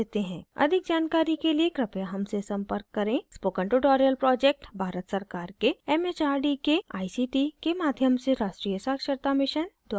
अधिक जानकारी के लिए कृपया हमसे संपर्क करें spoken tutorial project भारत सरकार के एम एच आर डी के आई सी टी के माध्यम से राष्ट्रीय साक्षरता mission द्वारा समर्थित है